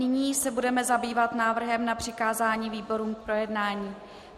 Nyní se budeme zabývat návrhem na přikázání výborům k projednání.